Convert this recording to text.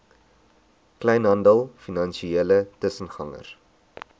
kleinhandel finansiële tussengangers